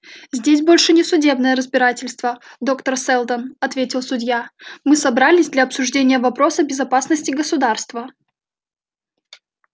здесь больше не судебное разбирательство доктор сэлдон ответил судья мы собрались для обсуждения вопроса безопасности государства